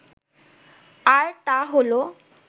আর তা হলো